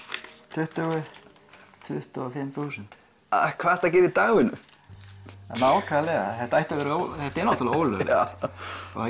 tuttugu tuttugu og fimm þúsund hvað ertu að gera í dagvinnu nákvæmlega þetta er þetta er náttúrulega ólöglegt og það